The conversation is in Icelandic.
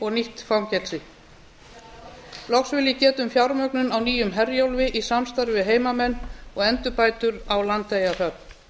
og nýtt fangelsi loks vil ég geta um fjármögnun á nýjum herjólfi í samstarfi við heimamenn og endurbætur á landeyjahöfn